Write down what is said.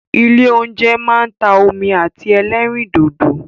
Ilé óúnjẹ máa ń ta omi àti ẹlẹ́rìndòdò.